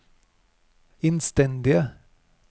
innstendige